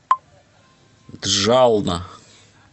джална